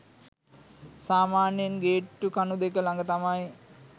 සාමාන්‍යයෙන් ගේට්ටු කණු දෙක ලඟ තමයි